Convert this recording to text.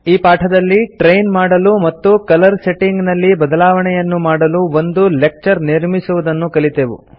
ಈ ಪಾಠದಲ್ಲಿ ಟ್ರೈನ್ ಮಾಡಲು ಮತ್ತು ಕಲರ್ ಸೆಟ್ಟಿಂಗ್ ನಲ್ಲಿ ಬದಲಾವಣೆಯನ್ನು ಮಾಡಲು ಒಂದು ಲೆಕ್ಚರ್ ನಿರ್ಮಿಸುವುದನ್ನು ಕಲಿತೆವು